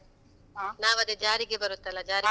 ನಾವ್ ಅದು ಜಾರಿಗೆ ಬರುತ್ತಲ್ಲ? ಜಾರಿಗೆ.